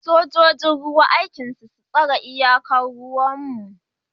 Sojojin ruwa aikin su tsare iyakar ruwan mu